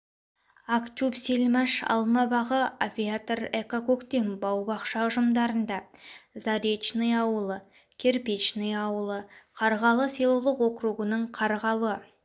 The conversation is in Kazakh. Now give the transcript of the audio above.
актюбсельмаш алма бағы авиатор эко көктем бау-бақша ұжымдарында заречный ауылы кирпичный ауылы қарғалы селолық округінің қарғалы